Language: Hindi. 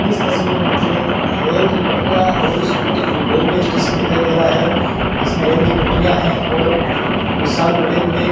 इस तस्वीर में मुझे रेल की पटरीयां रेल स्टे रेलवे स्टेशन दिखाई दे रहा है जिसमें रेल की पटरियां है और विशाल बड़े बड़े --